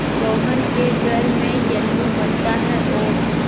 रोहन के घर में येल्लू बनता है और